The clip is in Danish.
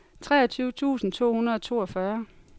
treogtyve tusind to hundrede og toogfyrre